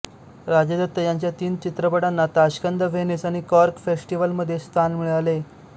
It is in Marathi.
राजदत्त यांच्या तीन चित्रपटांना ताश्कंद व्हेनिस आणि कॉर्क फेस्टिव्हलमध्ये स्थान मिळाले